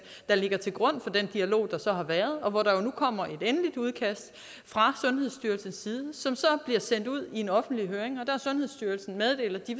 der ligger til grund for den dialog der så har været og nu kommer der et endeligt udkast fra sundhedsstyrelsens side som så bliver sendt ud i en offentlig høring og sundhedsstyrelsen meddelt at de